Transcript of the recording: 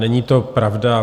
Není to pravda.